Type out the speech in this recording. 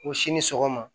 O si ni sɔgɔma